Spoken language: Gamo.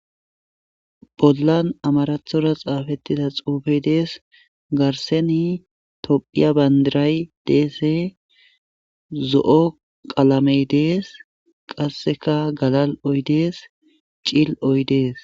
pollan amarathora xaafettida xoufe dees garseni tophiya bandiray deese zo7o qalamey dees qasseka galal7oydees cil oy dees